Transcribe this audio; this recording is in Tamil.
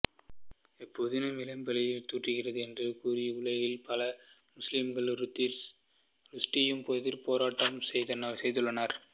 இப்புதினம் இஸ்லாமைப் பழி தூற்றுகிறது என்று கூறி உலகில் பல முஸ்லிம்கள் ருஷ்டியுக்கு எதிராகப் போராட்டம் செய்துள்ளனர்